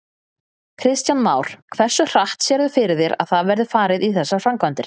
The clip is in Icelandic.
Kristján Már: Hversu hratt sérðu fyrir þér að það verði farið í þessar framkvæmdir?